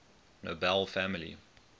nobel family